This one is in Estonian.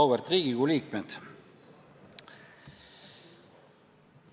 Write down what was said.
Auväärt Riigikogu liikmed!